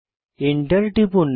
enter টিপুন